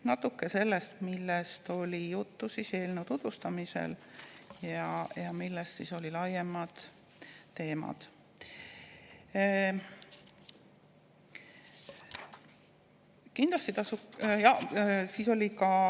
Natuke sellest, millest oli juttu eelnõu tutvustamise käigus ja millised olid laiemad teemad.